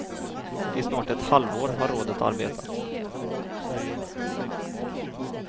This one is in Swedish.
I snart ett halvår har rådet arbetat.